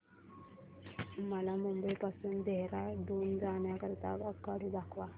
मला मुंबई पासून देहारादून जाण्या करीता आगगाडी दाखवा